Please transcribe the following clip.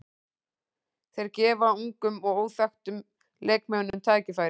Þeir gefa ungum og óþekktum leikmönnum tækifæri.